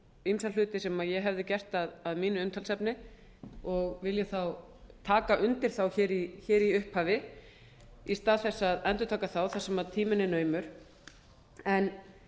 ýmsa hluti sem ég hefði gert að mínu umtalsefni og vil ég taka undir hér í upphafi í stað þess að endurtaka það þar sem tíminn er naumur en